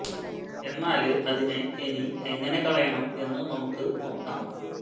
എന്നാല് അതിനെ ഇനി എങ്ങനെ കളയണം എന്ന് നമുക്ക് നോക്കാം